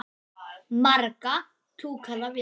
Marga túkalla vinur?